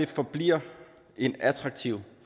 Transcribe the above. forbliver en attraktiv